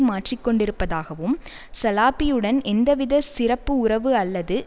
மாற்றிக்கொண்டிருப்பதாகவும் சலாபியுடன் எந்தவித சிறப்பு உறவு அல்லது